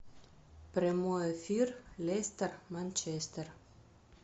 прямой эфир лестер манчестер